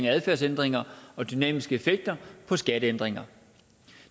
adfærdsændringer og dynamiske effekter af skatteændringer